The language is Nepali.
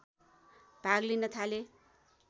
भाग लिन थाले